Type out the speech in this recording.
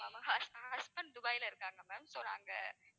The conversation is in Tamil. hus~ husband துபாய்ல இருக்காங்க ma'am so நாங்க